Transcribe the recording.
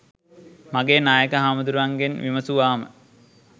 මගේ නායක හාමුදුරුවන්ගෙන් විමසුවාම